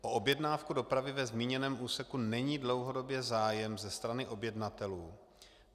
O objednávku dopravy ve zmíněném úseku není dlouhodobě zájem ze strany objednatelů.